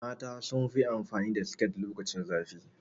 Mata sunfi amfani da siket lokacin zafi